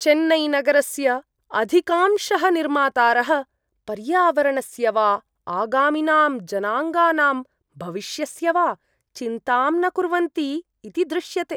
चेन्नैनगरस्य अधिकांशः निर्मातारः पर्यावरणस्य वा आगामिनां जनाङ्गानां भविष्यस्य वा चिन्तां न कुर्वन्ति इति दृश्यते।